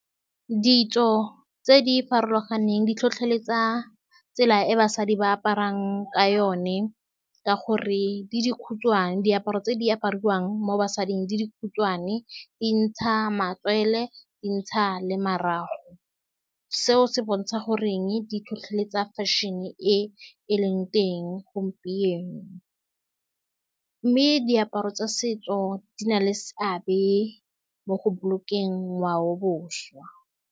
Ditso tse di farologaneng di tlhotlheletsa tsela e basadi ba aparang ka yone, ka gore di di khutshwane. Diaparo tse di apariwang mo basading di di khutshwane, di ntsha matswele, dintsha le marago. Seo se bontsha gore di tlhotlheletsa fashion-e e e leng teng gompieno, mme diaparo tsa setso di na le seabe mo go bolokeng ngwao boswa.